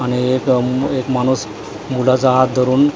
आणि एक अ माणूस मुलाचा हात धरून--